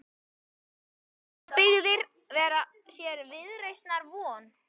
Eiga sjávarbyggðir sér viðreisnar von?